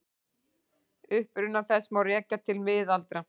Uppruna þess má rekja til miðalda.